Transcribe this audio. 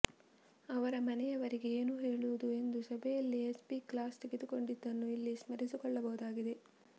ಅವರ ಮನೆಯವರಿಗೆ ಏನು ಹೇಳುವುದು ಎಂದು ಸಭೆಯಲ್ಲೇ ಎಸ್ಪಿ ಕ್ಲಾಸ್ ತೆಗೆದುಕೊಂಡ್ಡಿದ್ದನ್ನು ಇಲ್ಲಿ ಸ್ಮರಿಸಿಕೊಳ್ಳಬಹುದಾಗಿದೆ